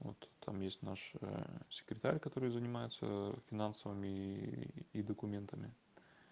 вот там есть наш секретаря который занимается финансовыми и документами